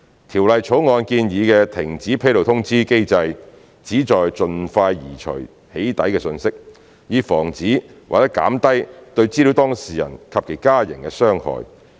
《條例草案》建議的停止披露通知機制旨在盡快移除"起底"訊息，以防止或減低對資料當事人及其家人的傷害。